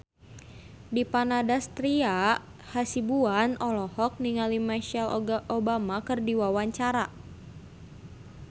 Dipa Nandastyra Hasibuan olohok ningali Michelle Obama keur diwawancara